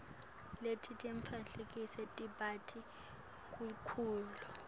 letinye timphahla tibita kakhulu